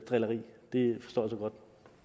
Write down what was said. drilleri det forstår